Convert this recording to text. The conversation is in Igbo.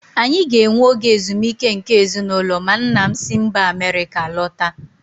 Anyị ga-enwe oge ezumike nke ezinụlọ ma nna m si mba Amerịka lọta.